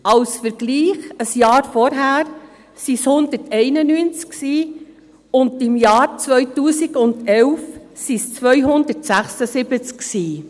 Als Vergleich: Im Jahr zuvor waren es 191, und im Jahr 2011 waren es 276.